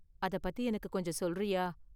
அதப்பத்தி எனக்கு கொஞ்சம் சொல்றியா?